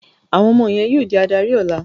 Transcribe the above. Àwọn ọmọ yín yóò di adarí ọ̀la!